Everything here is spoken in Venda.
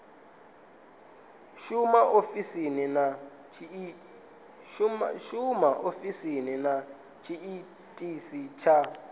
shuma ofisini na tshiitisi tsha